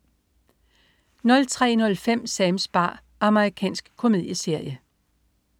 03.05 Sams bar. Amerikansk komedieserie